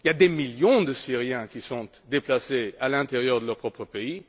Il y a des millions de Syriens qui sont déplacés à l'intérieur de leur propre pays.